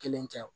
Kelen tɛ